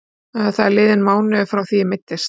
Það er liðinn mánuður frá því ég meiddist.